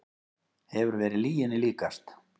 Hefur verið lyginni líkast